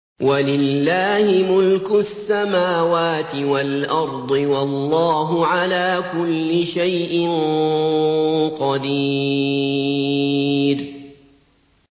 وَلِلَّهِ مُلْكُ السَّمَاوَاتِ وَالْأَرْضِ ۗ وَاللَّهُ عَلَىٰ كُلِّ شَيْءٍ قَدِيرٌ